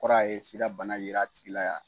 O Kɔrɔ a ye sida bana yera a tigi la.